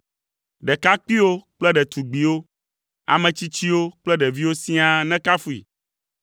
ɖekakpuiwo kple ɖetugbiwo, ame tsitsiwo kple ɖeviwo siaa nekafui.